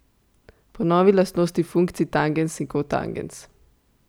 Ponovi lastnosti funkcij tangens in kotangens.